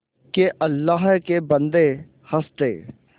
के अल्लाह के बन्दे हंस दे